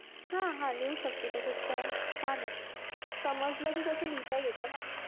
हा हा लिहू शकते, त्याच्यात काय, छान आहे, समजलं की कसं लिहिता येतं ना